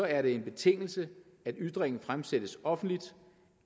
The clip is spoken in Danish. er det en betingelse at ytringen fremsættes offentligt